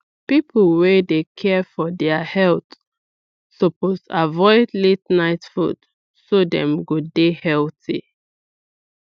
people wey dey care for their for their health suppose avoid la ten ight food so dem go dey healthy